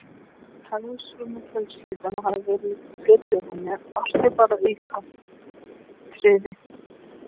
Hagsmunir fjölskyldunnar hafi verið í fyrirrúmi, ástin bara aukaatriði.